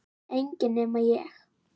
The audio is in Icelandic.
Enginn nema ég